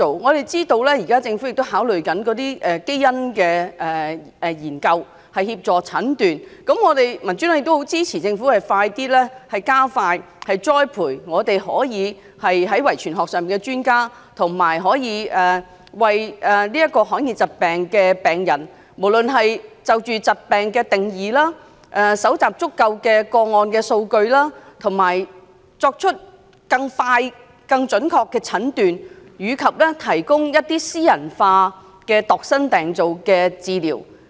我們知道政府正考慮透過基因研究來協助診斷，民主黨很支持政府加快栽培遺傳學專家，以及就罕見疾病的定義，搜集足夠個案數據，以便作出更快、更準確的診斷，以及提供度身訂造的治療。